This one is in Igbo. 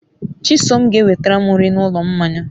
Chisom ga enwetaram nri n'ulo mmanya